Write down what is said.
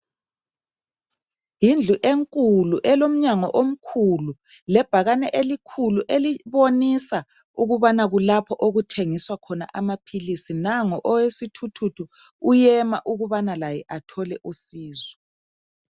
Yindlu enkulu elomnyango omkhulu lebhakane elikhulu elibonisa ukubana kulapho okuthengiswa khona amaphilisi. Nango owesithuthuthu uyema ukubana laye athole usizo.